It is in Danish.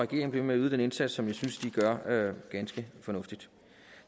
bliver ved med at yde den indsats som jeg synes de gør ganske fornuftigt